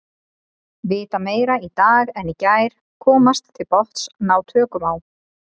Vita meira í dag en í gær, komast til botns, ná tökum á.